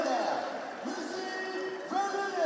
İlk növbədə, Müseyib Vəliyev!